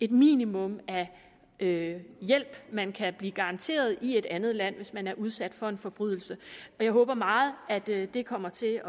minimum af hjælp man kan blive garanteret i et andet land hvis man er udsat for en forbrydelse og jeg håber meget at det det kommer til